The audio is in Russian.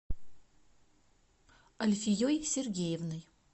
альфией сергеевной